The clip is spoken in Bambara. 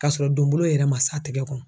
K'a sɔrɔ donbolo yɛrɛ ma s'a tɛgɛ kɔnɔ.